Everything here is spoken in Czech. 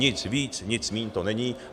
Nic víc, nic míň to není.